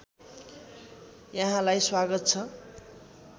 यहाँलाई स्वागत छ